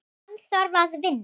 Hann þarf að vinna.